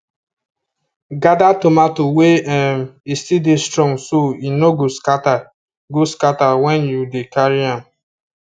gather tomato when um e still dey strong so e no go scatter go scatter when you dey carry am